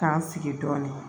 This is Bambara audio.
K'an sigi dɔɔnin